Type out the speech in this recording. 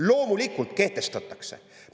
Loomulikult kehtestatakse!